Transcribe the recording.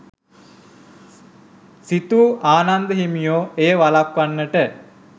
සිතූ ආනන්ද හිමියෝ එය වළක්වන්නට